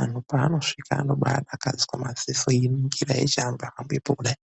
ANHU PAANOSVIKA ANOBAADAKADZWA MAZISO EININGIRA EIHAMBEPO KUDAI.